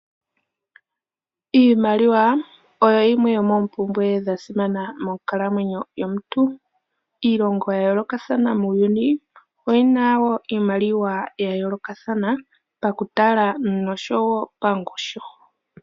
Iimaliwa oyo yimwe yomoompumbwe dha simana monkalamwenyo yomuntu. Iilongo ya yoolokathana muuyuni oyi na wo iimaliwa ya yoolokathana pakutala nosho wo pangushu.